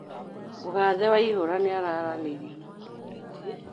Mũgathĩ waihũra nĩararanĩirĩe na muthũrĩ tĩ